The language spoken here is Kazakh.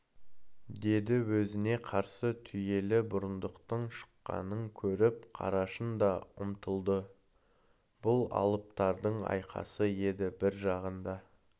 деді өзіне қарсы түйелі бұрындықтың шыққанын көріп қарашың да ұмтылды бұл алыптардың айқасы еді бір жағында